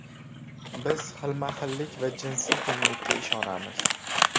Biz xilma-xillik va jinsiy tenglikka ishonamiz”.